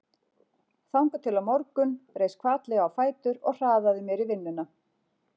Þangað til á morgun reis hvatlega á fætur og hraðaði mér í vinnuna.